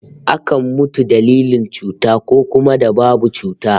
Akan mutu dalilin cuta, ko kuma da babu cuta